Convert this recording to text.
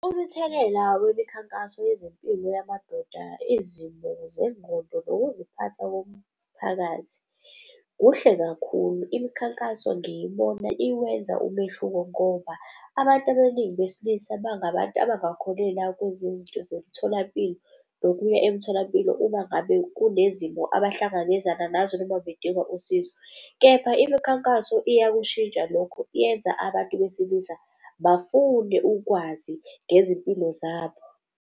Umthelela wemikhankaso yezempilo yamadoda, izimo zengqondo, nokuziphatha komphakathi kuhle kakhulu. Imikhankaso ngiyibona iwenza umehluko ngoba abantu abaningi besilisa bangabantu abangakholelwa kweze zinto zomtholampilo nokuya emtholampilo uma ngabe kunezimo abahlangabezana nazo, noma bedinga usizo. Kepha imikhankaso iyakushintsha lokho, yenza abantu besilisa bafune ukwazi ngezimpilo zabo.